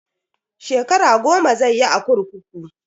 Shekara goma zai yi a kurkuku.